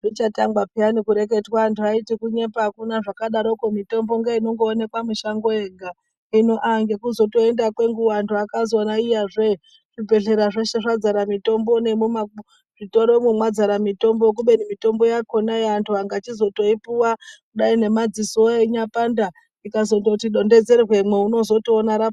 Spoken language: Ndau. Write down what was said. Zvichatangwa peyani kureketwa antu aiti kunyepa akuna zvakadarokwo mitombo ngeinongoonekwa mishango yega. Hino aah ngekutozoenda kwenguwa antu akazoona iyazve zvibhendlera zveshe zvadzara mitombo nemuzvitoromwo mwazara mitombo. Kubeni mitombo yakhona antu akachizotoipuwa kudai ngemadzisowo einyapanda rikazondoti donhedzerwemwo unotozoona ra.